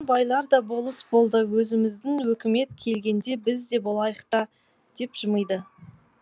бұрын байлар да болыс болды өзіміздің өкімет келгенде біз де болайық та деп жымиды